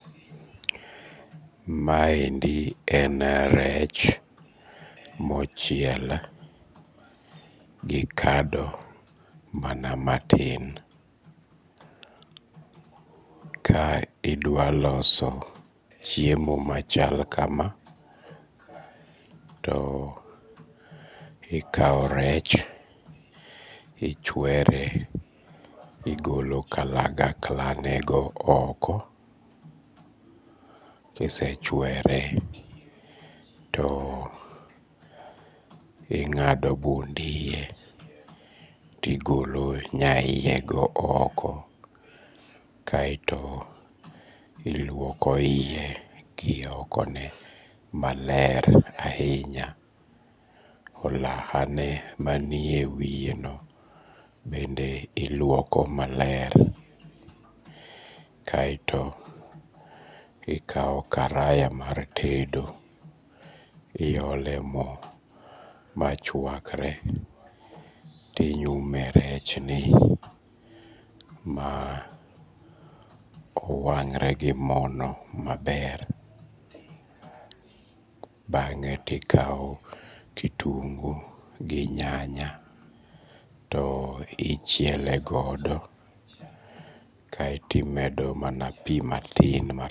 Maendi en rech, mochiel gi kado mana matin, ka idwaloso chiemo machal kama, to ikawo rech to ichwere to igolo kalagaklago oko kisechwere to ing'ado bund iye, tigilo nya iyego oko kaeto iluoko iye gi okone maler ahinya, olahaneno manie wiyeno bende iluoko maler, kaeto ikawo karaya mar tedo to iyole mo machwakre tinyume e rechni ma owang're gi mono maler, bang'e to ikawo kitungu gi nyanya to ichiele godo kaeto imede mana pi matin